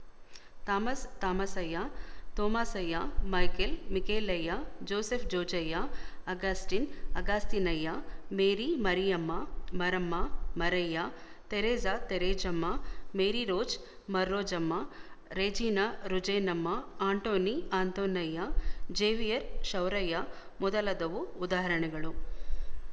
ಥಾಮಸ್ತಾಮಸಯ್ಯತೋಮಾಸಯ್ಯ ಮೈಕೇಲ್ಮಿಕೇಲಯ್ಯ ಜೋಸೆಫ್‍ಜೋಜಯ್ಯ ಅಗಸ್ಟೀನ್ಅಗಸ್ತೀನಯ್ಯ ಮೇರಿಮರಿಯಮ್ಮಮರಮ್ಮಮರಯ್ಯ ತೆರಿಸಾತೇರೇಜಮ್ಮ ಮೇರಿರೋಜ್ಮರ್ರೋಜಮ್ಮ ರೆಜೀನಾರುಜೇನಮ್ಮ ಆಂಟೋನಿಆಂತೋನಯ್ಯ ಜೇವಿಯರ್ಶೌರಯ್ಯ ಮೊದಲಾದವು ಉದಾಹರಣೆಗಳು